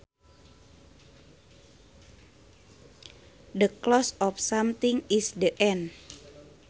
The close of something is the end